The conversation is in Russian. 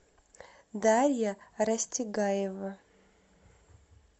дарья растегаева